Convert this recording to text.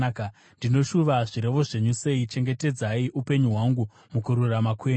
Ndinoshuva zvirevo zvenyu sei! Chengetedzai upenyu hwangu mukururama kwenyu.